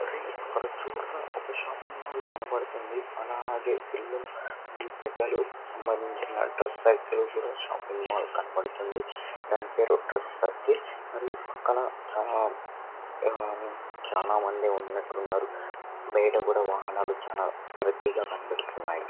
ఒరేయ్ అక్కడ చూడరా ఒక షాపింగ్ మాల్ కనపడుతుంది . అలాగే పిల్లలు పెద్దలు సంబంధించిన డ్రెస్ సర్కిల్ షాపింగ్ మాల్ కనబడుతుంది. దాని పేరు డ్రెస్ సర్కిల్ మరియు పక్కన చానా ఆ చానా మంది ఉన్నట్టు ఉన్నారు. బయట కూడా వాహనాలు చానా రద్దీగా కనబడ్తున్నాయి.